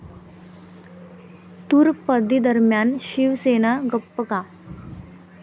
तूर बंदीदरम्यान शिवसेना गप्प का?